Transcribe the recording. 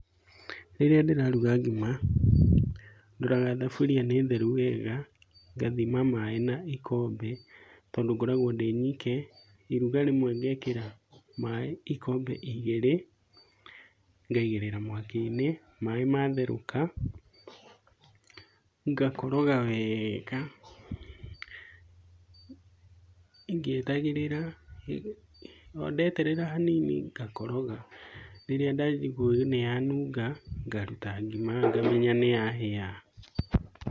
Rĩrĩa ndĩraruga ngima, ndoraga thaburia nĩ theru wega. Ngathima maĩ na gĩkombe tondũ ngoragwo ndĩnyike. Iruga rĩmwe ngekĩra maĩ ikombe igĩrĩ. Ngaigĩrĩra mwaki-inĩ. Maĩ matherũka ngakoroga wega, ngĩetagĩrĩra o ndeterera hanini ngakoroga. Rĩrĩa ndathĩ kũigua nĩyanunga, ngaruta ngima ngamenya nĩyahĩa.